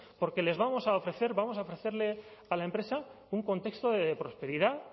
porque les vamos a ofrecer vamos a ofrecerle a la empresa un contexto de prosperidad